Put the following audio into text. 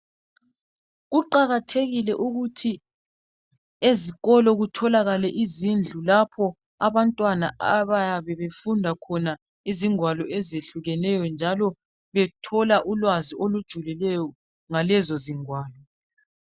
Kuqakathekile ukuthi ezikolo kutholakale izindlu lapho abantwana abayabe befunda khona izigwalo ezehlukeneyo njalo bathole ulwazi olujulileyo ngalezo zingwalo.